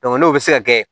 n'o bɛ se ka kɛ